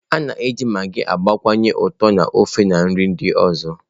A na-eji magịị gbakwunye ụtọ na ofe, na nri ndị ọzọ.